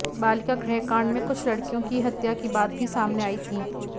बालिका गृहकांड में कुछ लड़कियों की हत्या की बात भी सामने आई थी